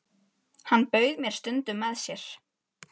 Hann bauð mér stundum með sér.